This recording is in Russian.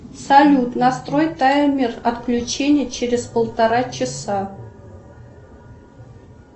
салют настрой таймер отключения через полтора часа